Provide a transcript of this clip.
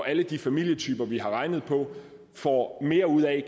alle de familietyper vi har regnet på får mere ud af